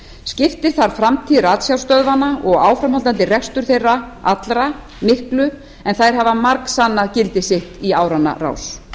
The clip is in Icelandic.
skiptir þar framtíð ratsjárstöðvanna og áframhaldandi rekstur þeirra allra miklu en þær hafa margsannað gildi sitt í áranna rás